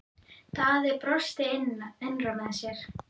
Daði brosti innra með sér.